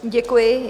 Děkuji.